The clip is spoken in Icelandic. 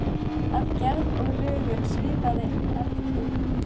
Að gerð og lögun svipaði eldkeilum